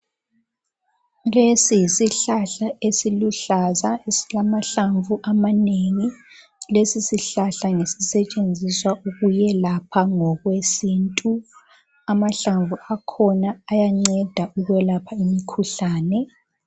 lesi yisihlahla esiluhlaza esilamahlamvu amanengi lesisihlahla sisetshenziswa ukuyelapha ngokwesintu amahlamvu akhona ayanceda ukwelapha imikhuhlane